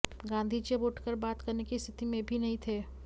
गांधीजी अब उठकर बात करने की स्थिति में भी नहीं थे